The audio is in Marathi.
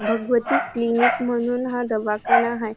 भगवती क्लिनिक म्हणून हा दवाखाना आहे.